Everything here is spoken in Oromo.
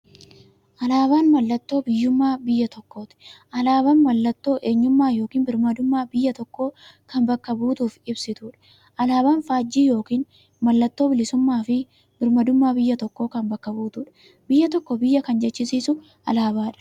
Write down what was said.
Alaabaan mallattoo biyyummaa biyya tokkooti. Alaabaan mallattoo eenyummaa yookiin birmaadummaa biyya tokkoo kan bakka buutuuf ibsituudha. Alaaban faajjii yookiin maallattoo bilisuummaafi birmaadummaa biyya tokkoo kan bakka buutuudha. Biyya tokko biyya kan jechisisuu alaabadha.